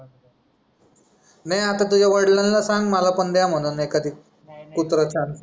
नाही आता तुझ्या वडीलाना ना सांग मला पण द्या म्हणून एखादी कुत्रा छानस